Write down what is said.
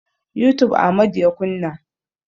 Youtube Amadu ya kunna.